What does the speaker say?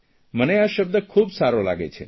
મને આ શબ્દ ખૂબ સારો લાગે છે